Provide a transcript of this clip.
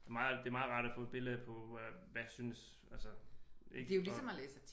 Det meget det er meget rart at få et billede på hvad synes altså ik og